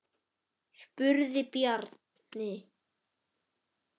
spurði Bjarni.